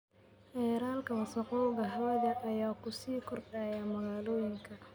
Heerarka wasakhowga hawada ayaa ku sii kordhaya magaalooyinka.